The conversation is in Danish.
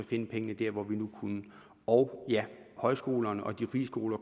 finde pengene der hvor vi nu kunne og ja højskolerne og de frie skoler